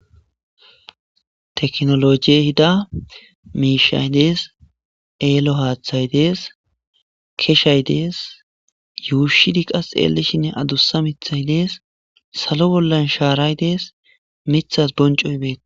teknolojey hida miishay dees eelo haaththay dees keshay dees yuushidi qas eelishinne adussa mithay dees salo bollan shaaray dees mithas boncoy bee